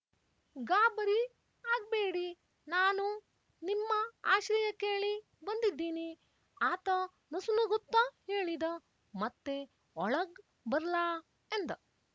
ಗಾಬರಿ ಆಗ್‍ಬೇಡಿ ನಾನು ನಿಮ್ಮ ಆಶ್ರಯ ಕೇಳಿ ಬಂದಿದ್ದೀನಿ ಆತ ನಸುನಗುತ್ತ ಹೇಳಿದ ಮತ್ತೆ ಒಳಗ್ ಬರ್ಲಾ ಎಂದ